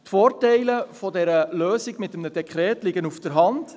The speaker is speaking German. Die Vorteile der Lösung mit einem Dekret liegen auf der Hand: